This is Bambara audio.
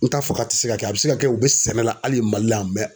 N t'a fɔ k'a tɛ se ka kɛ a bɛ se ka kɛ u bɛ sɛnɛ la hali Mali la